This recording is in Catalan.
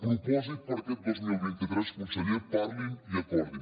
propòsit per a aquest dos mil vint tres conseller parlin i acordin